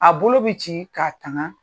A bolo bɛ ci k'a tanga